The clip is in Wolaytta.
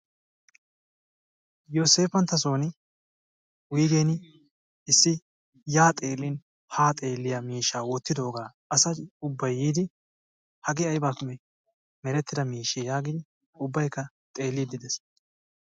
Yoseppanttasoon wuyggeen issi ya xeelin ha xeeliya miishsha wottidooga asay ubbay yiidi hage aybbappe meretida miishshe yaagidi ubbaykka xeeliidde dees.